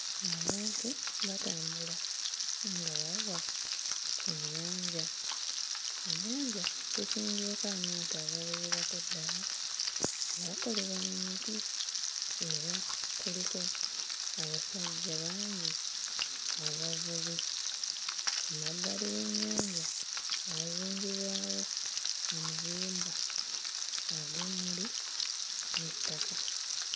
Abantu batambula nga bava ku nnyanja. Mu nnyanja kusimbyeko amaato agawererako ddala agaakolebwa mu miti era kuliko abasajja bangi abavubi. Ku mabbali w'ennyanja waazimbibwawo amayumba ag'emmuli n'ettaka.